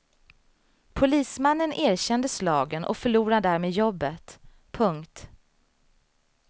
Polismannen erkände slagen och förlorar därmed jobbet. punkt